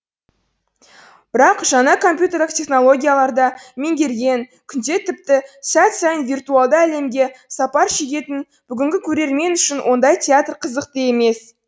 бірақ жаңа компьютерлік технологиялар да меңгерген күнде тіпті сәт сайын виртуалды әлемге сапар шегетін бүгінгі көрермен үшін ондай театр қызықты емес